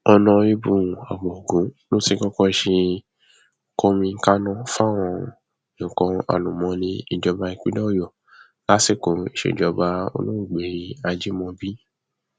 ọnàrẹbù abogun ló ti kọkọ ṣe kọmíkànnà fáwọn nǹkan àlùmọọnì ìjọba ìpínlẹ ọyọ lásìkò ìsejọba olóògbé ajímọbí